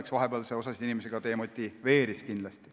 Eks see vahepeal osa inimesi kindlasti demotiveeris.